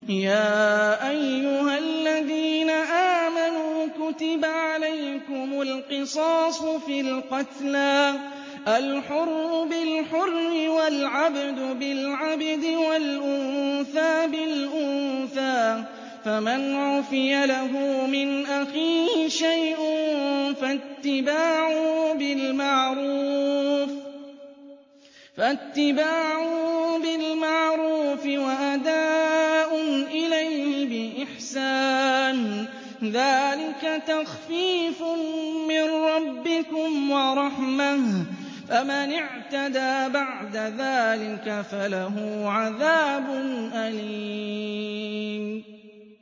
يَا أَيُّهَا الَّذِينَ آمَنُوا كُتِبَ عَلَيْكُمُ الْقِصَاصُ فِي الْقَتْلَى ۖ الْحُرُّ بِالْحُرِّ وَالْعَبْدُ بِالْعَبْدِ وَالْأُنثَىٰ بِالْأُنثَىٰ ۚ فَمَنْ عُفِيَ لَهُ مِنْ أَخِيهِ شَيْءٌ فَاتِّبَاعٌ بِالْمَعْرُوفِ وَأَدَاءٌ إِلَيْهِ بِإِحْسَانٍ ۗ ذَٰلِكَ تَخْفِيفٌ مِّن رَّبِّكُمْ وَرَحْمَةٌ ۗ فَمَنِ اعْتَدَىٰ بَعْدَ ذَٰلِكَ فَلَهُ عَذَابٌ أَلِيمٌ